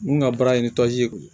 Mun ka baara ye ni ye